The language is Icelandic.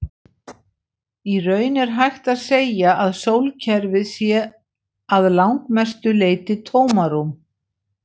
Í raun er hægt að segja að sólkerfið sé að langmestu leyti tómarúm.